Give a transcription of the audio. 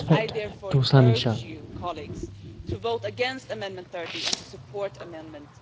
I therefore urge you, colleagues, to vote against Amendment 30 and to support Amendment